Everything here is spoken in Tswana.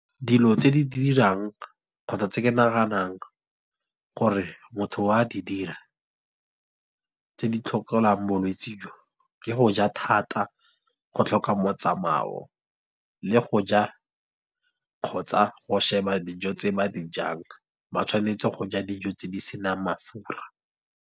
Dilo tse di dirang kgotsa tse ke naganang gore motho o a di dira, tse di bolwetse jo. Ke go ja thata, go tlhoka motsamao, le go ja, kgotsa go sheba dijo tse ba di jang. Ba tshwanetse go ja dijo tse di senang mafura.